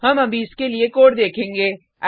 हम अभी इसके लिए कोड देखेंगे